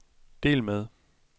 del med